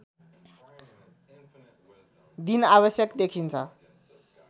दिन आवश्यक देखिन्छ